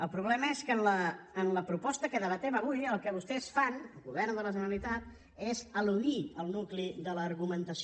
el problema és que en la proposta que debatem avui el que vostès fan el govern de la generalitat és eludir el nucli de l’argumentació